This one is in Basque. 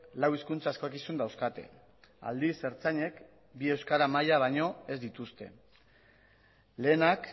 lau hizkuntza eskakizun dauzkate aldiz ertzainek bigarrena euskara maila baino ez dituzte lehenak